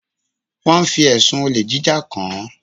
Wọn fi ẹ̀sùn olè jíjà kàn án.